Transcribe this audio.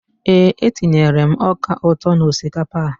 Eé, etinyere m ọka ụtọ n'osikapa a.